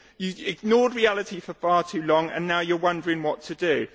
You ignored reality for far too long and now you are wondering what to do.